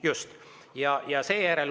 Just!